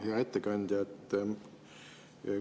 Hea ettekandja!